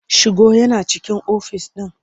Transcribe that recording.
Shigo yana cikin ofis ɗin.